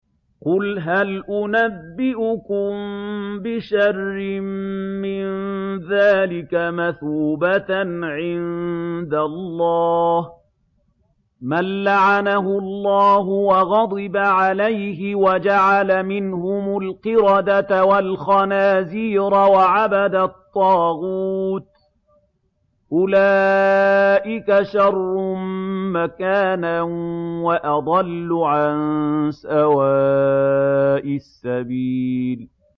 قُلْ هَلْ أُنَبِّئُكُم بِشَرٍّ مِّن ذَٰلِكَ مَثُوبَةً عِندَ اللَّهِ ۚ مَن لَّعَنَهُ اللَّهُ وَغَضِبَ عَلَيْهِ وَجَعَلَ مِنْهُمُ الْقِرَدَةَ وَالْخَنَازِيرَ وَعَبَدَ الطَّاغُوتَ ۚ أُولَٰئِكَ شَرٌّ مَّكَانًا وَأَضَلُّ عَن سَوَاءِ السَّبِيلِ